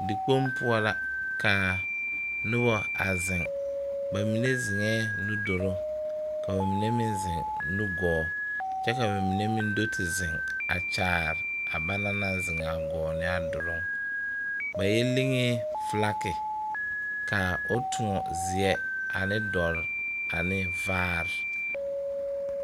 Dikpoŋ poɔ la ka noba a zeŋ ba mine zeŋɛɛ nuduluŋ ka ba mine meŋ zeŋ nugɔɔ kyɛ ka ba mine meŋ do te zeŋ a kyaare a bana naŋ zeŋ a gɔɔ ne a duluŋ ba yɔ legee filaki ka o toɔ zeɛ ane dɔre ane vaare.